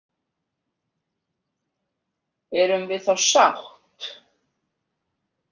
Erum við þá sátt?